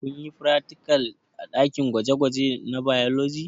Kunyi fratikal a ɗakin gwaje gwaje na bailoji?